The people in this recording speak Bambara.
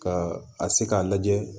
Ka a se k'a lajɛ